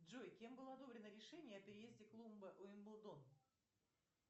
джой кем было одобрено решение о переезде клуба уимблдон